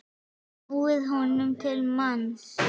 snúið honum til manns.